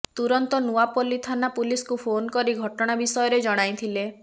ତୁରନ୍ତ ନୂଆପଲ୍ଲୀ ଥାନା ପୁଲିସକୁ ଫୋନ୍ କରି ଘଟଣା ବିଷୟରେ ଜଣାଇଥିଲେ